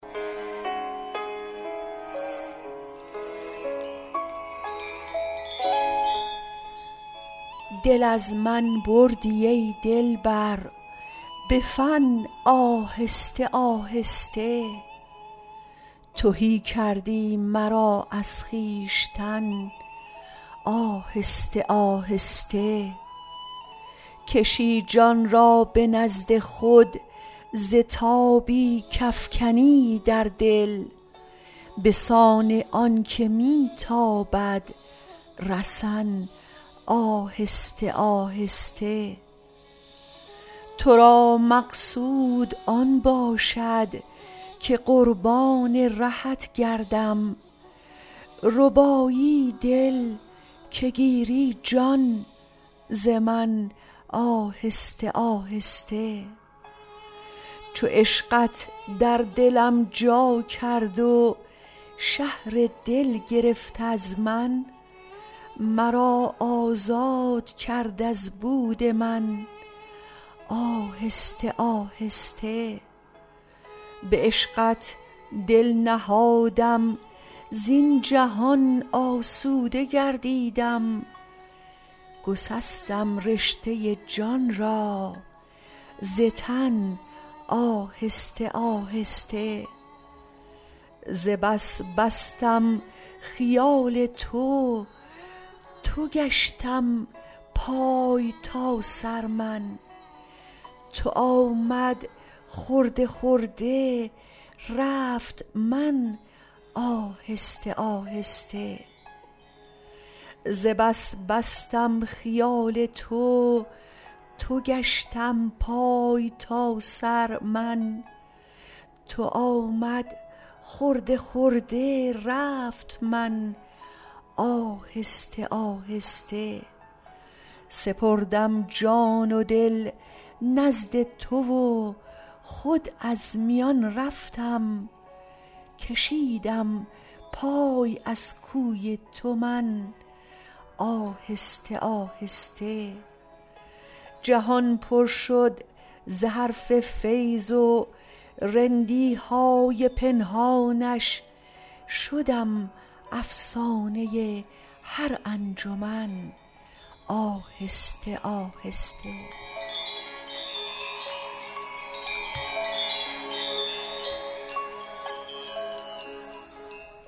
دل از من بردی ای دلبر به فن آهسته آهسته تهی کردی مرا از خویشتن آهسته آهسته کشی جان را به نزد خود ز تابی کافکنی در دل به سان آنکه می تابد رسن آهسته آهسته ترا مقصود آن باشد که قربان رهت گردم ربایی دل که گیری جان ز من آهسته آهسته چو عشقت در دلم جا کرد و شهر دل گرفت از من مرا آزاد کرد از بود من آهسته آهسته به عشقت دل نهادم زین جهان آسوده گردیدم گسستم رشته جان را ز تن آهسته آهسته ز بس بستم خیال تو تو گشتم پای تا سر من تو آمد خرده خرده رفت من آهسته آهسته سپردم جان و دل نزد تو و خود از میان رفتم کشیدم پای از کوی تو من آهسته آهسته جهان پر شد ز حرف فیض و رندی های پنهانش شدم افسانه هر انجمن آهسته آهسته